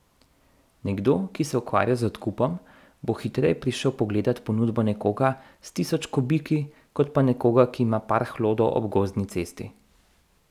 Nekdo, ki se ukvarja z odkupom, bo hitreje prišel pogledat ponudbo nekoga s tisoč kubiki kot pa nekoga, ki ima par hlodov ob gozdni cesti.